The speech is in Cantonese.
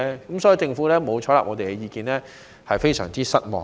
因此，政府沒有採納我們的意見，我們對此非常失望。